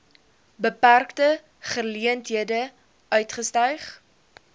beperkte geleenthede uitgestyg